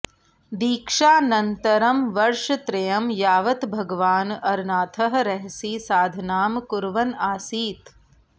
दीक्षानन्तरं वर्षत्रयं यावत् भगवान् अरनाथः रहसि साधनां कुर्वन् आसीत्